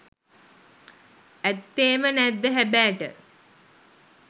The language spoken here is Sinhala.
ඈත්තෙම නෑද්ද හෑබෑට?